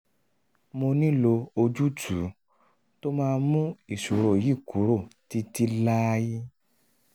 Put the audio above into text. mo nílò ojútùú tó máa mú ìṣòro yìí kúrò títí láé